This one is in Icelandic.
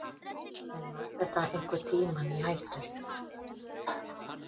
En var þetta einhvern tímann í hættu?